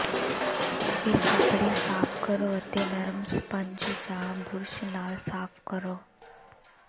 ਫਿਰ ਕੱਪੜੇ ਸਾਫ਼ ਕਰੋ ਅਤੇ ਨਰਮ ਸਪੰਜ ਜਾਂ ਬੁਰਸ਼ ਨਾਲ ਸਾਫ਼ ਕਰੋ